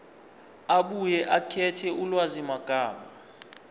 abuye akhethe ulwazimagama